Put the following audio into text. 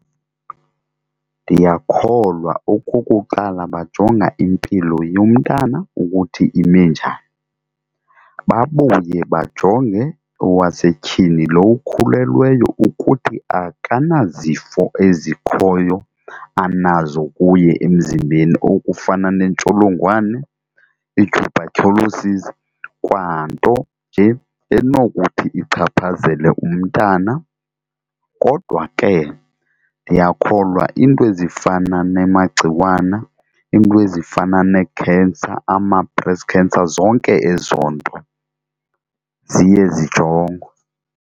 Ndiyakholwa okokuqala bajonga impilo yomntana ukuthi ime njani, babuye bajonge owasetyhini lo ukhulelweyo ukuthi akanazifo ezikhoyo anazo kuye emzimbeni okufana neentsholongwane, i-tuberculosis kwanto nje enokuthi ichaphazele umntana. Kodwa ke ndiyakholwa iinto ezifana nemagciwana, iinto ezifana nee-cancer, ama-breast cancer zonke ezo nto ziye zijongwe.